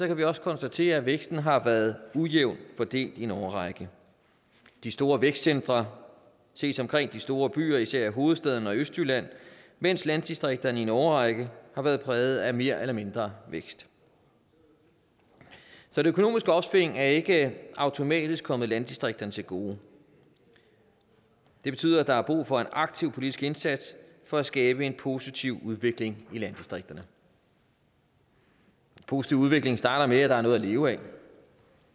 kan vi også konstatere at væksten har været ujævnt fordelt i en årrække de store vækstcentre ses omkring de store byer især i hovedstaden og i østjylland mens landdistrikterne i en årrække har været præget af mere eller mindre vækst så det økonomiske opsving er ikke automatisk kommet landdistrikterne til gode det betyder at der er brug for en aktiv politisk indsats for at skabe en positiv udvikling i landdistrikterne en positiv udvikling starter med at der er noget at leve af